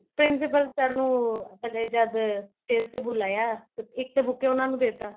principal sir ਨੂੰ ਪਹਿਲੇ ਜਦ stage ਤੇ ਬੁਲਾਇਆ ਤਾਂ ਇੱਕ buke ਉਹਨਾ ਨੂੰ ਦੇਤਾ